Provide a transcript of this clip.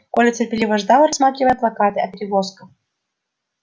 коля терпеливо ждал рассматривая плакаты о перевозках